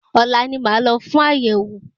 Ọ̀la ni màá lọ fún àyẹ̀wò.